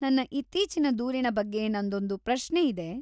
ನನ್ನ ಇತ್ತೀಚಿನ ದೂರಿನ ಬಗ್ಗೆ ನಂದೊಂದು ಪ್ರಶ್ನೆ ಇದೆ.